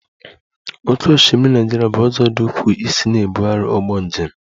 Oké osimiri Naịjirịa bụ ụzọ dị ukwuu isi na-ebugharị ụgbọ njem